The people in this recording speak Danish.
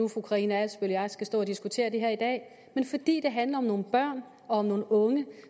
fru karina adsbøl og jeg skal stå og diskutere det her i dag men fordi det handler om nogle børn og nogle unge